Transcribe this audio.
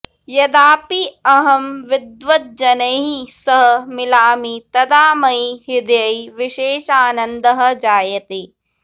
यदापि अहं विद्वद्जनैः सह मिलामि तदा मयि हृदि विशेषानन्दः जायते